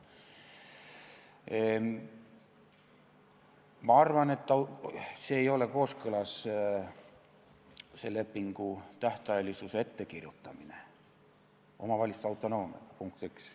Ma arvan, et see lepingu tähtajalisuse ettekirjutamine ei ole kooskõlas omavalitsuse autonoomiaga, punkt üks.